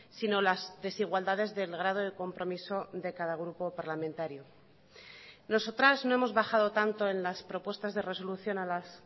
sino las desigualdades del grado de compromiso de cada grupo parlamentario nosotras no hemos bajado tanto en las propuestas de resolución a las